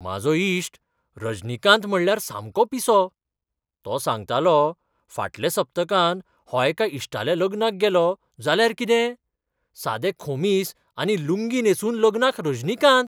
म्हाजो इश्ट रजनीकांत म्हटल्यार सामको पिसो. तो सांगतालो, फाटल्या सप्तकांत हो एका इश्टाल्या लग्नाक गेलो, जाल्यार कितें? सादें खोमीस आनी लुंगी न्हेसून लग्नाक रजनीकांत!!!